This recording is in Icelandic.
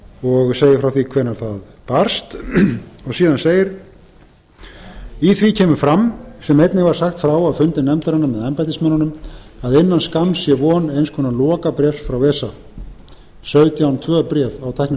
og segir frá því hvenær það barst síðan segir í því kemur fram sem einnig var sagt frá á fundi nefndarinnar með embættismönnunum að innan skamms sé von eins konar lokabréfs frá esa sautján til tvö bréf á tæknimáli sem